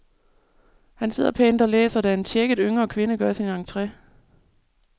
Han sidder pænt og læser, da en tjekket, yngre kvinde gør sin entre.